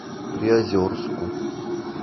приозерску